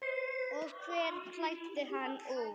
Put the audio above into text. Og hver klæddi hann úr?